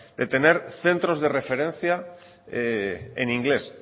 de tener centros de referencia en inglés